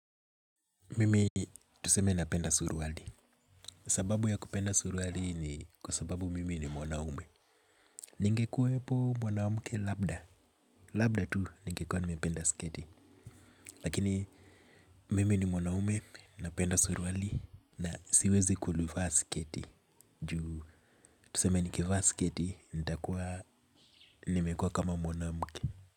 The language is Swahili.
Mimi tuseme napenda suruali. Sababu ya kupenda suruali ni kwa sababu mimi ni mwanaume. Ningekuwepo mwanamke labda. Labda tu ningekuwa nimependa sketi. Lakini mimi ni mwanaume, napenda suruali na siwezi kulufa sketi. Juu tuseme nikivaa sketi, nita kuwa nimekuwa kama mwanamke.